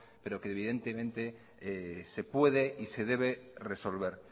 pero que evidentemente se puede y se debe resolver